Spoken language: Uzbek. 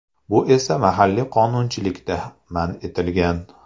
Bu esa mahalliy qonunchilikda man etilgan.